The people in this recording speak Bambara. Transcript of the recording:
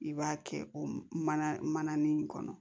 I b'a kɛ o mana nin kɔnɔ